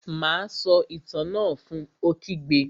Má a sọ Itàn náà fun! Ó kígbe